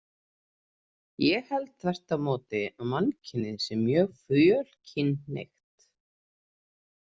Ég held þvert á móti að mannkynið sé mjög fjölkynhneigt.